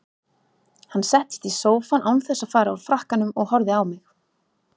Hann settist í sófann án þess að fara úr frakkanum og horfði á mig.